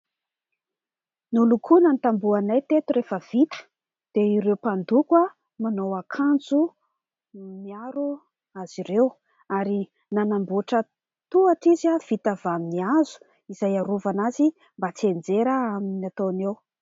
Nolokoana ny tambohonay teto rehefa vita, dia ireo mpandoko manao akanjo miaro azy ireo, ary nanamboatra tohatra izy vita avy amin'ny hazo izay iarovana azy mba tsy ianjera amin'ny ataony eo.